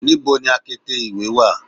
Nibo ni akete iwe wa